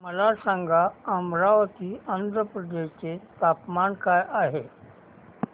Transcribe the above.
मला सांगा अमरावती आंध्र प्रदेश चे तापमान काय आहे